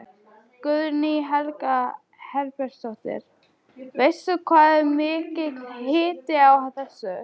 Guðný Helga Herbertsdóttir: Veistu hvað er mikill hiti á þessu?